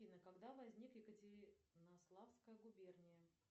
афина когда возникла екатеринославская губерния